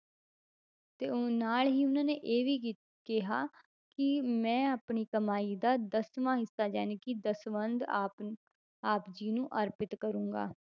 ਤੇ ਉਹ ਨਾਲ ਹੀ ਉਹਨਾਂ ਨੇ ਇਹ ਵੀ ਕ~ ਕਿਹਾ ਕਿ ਮੈਂ ਆਪਣੀ ਕਮਾਈ ਦਾ ਦਸਵਾਂ ਹਿੱਸਾ ਜਾਣੀਕਿ ਦਸਵੰਧ ਆਪ ਨ~ ਆਪ ਜੀ ਨੂੰ ਅਰਪਿਤ ਕਰਾਂਗਾ।